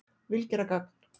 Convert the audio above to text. Vil gera gagn